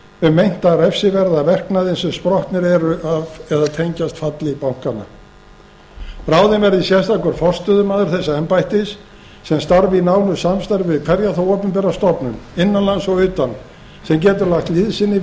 um meinta refsiverða verknaði sem sprottnir eru af eða tengjast falli bankanna ráðinn verði sérstakur forstöðumaður þessa embættis sem starfi í nánu samstarfi við hverja þá opinbera stofnun innan lands og utan sem getur lagt liðsinni